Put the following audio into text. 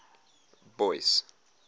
boyce